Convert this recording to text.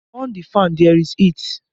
On the fan! There is heat!